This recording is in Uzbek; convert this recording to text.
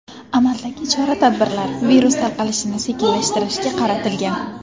Amaldagi chora-tadbirlar virus tarqalishini sekinlashtirishga qaratilgan.